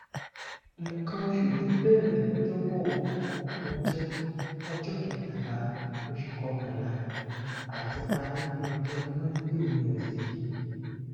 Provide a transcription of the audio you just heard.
nkan osu mi bẹrẹ lọjọbọ ọjọ ọjọ kẹtàlá oṣù kọkànlá àti parí ní ọjọ mọndé ọsẹ yìí